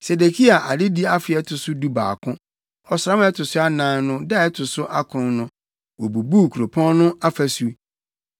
Sedekia adedi afe a ɛto so dubaako, ɔsram a ɛto so anan no da a ɛto so akron no, wobubuu kuropɔn no afasu.